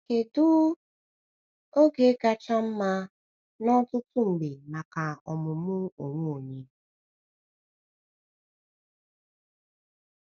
Kedu um oge kacha mma n’ọtụtụ mgbe maka ọmụmụ onwe onye?